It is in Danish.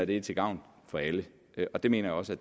det er til gavn for alle det mener jeg også at